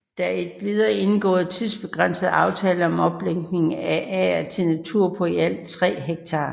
Der er endvidere indgået tidsbegrænsede aftaler om omlægning af ager til natur på i alt 3 ha